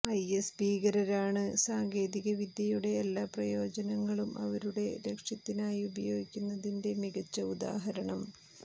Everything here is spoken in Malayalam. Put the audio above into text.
ഐഎസ് ഭീകരരാണ് സാങ്കേതിക വിദ്യയുടെ എല്ലാ പ്രയോജനങ്ങളും അവരുടെ ലക്ഷ്യത്തിനായി ഉപയോഗിക്കുന്നതിന്റെ മികച്ച ഉദാഹരണം